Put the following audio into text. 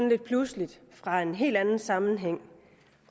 lidt pludseligt fra en helt anden sammenhæng